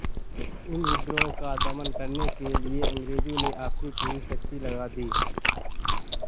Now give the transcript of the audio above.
इन विद्रोह का दमन करने के लिए अंग्रेजों ने अपनी पूरी शक्ति लगा दी